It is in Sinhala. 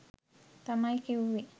තමයි කිව්වේ